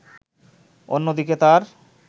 অন্যদিকে তার